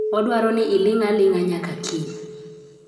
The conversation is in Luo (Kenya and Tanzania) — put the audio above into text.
Odwaro ni iling' aling'a nyaka kiny.